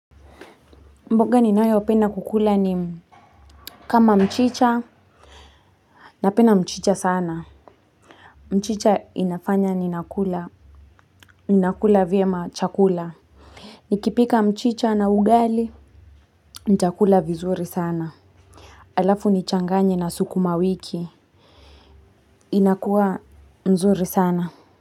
Mboga ninayopenda kukula ni kama mchicha. Napenda mchicha sana. Mchicha inafanya ninakula. Ninakula vyema chakula. Nikipika mchicha na ugali nitakula vizuri sana. Alafu nichanganye na sukuma wiki. Inakuwa nzuri sana.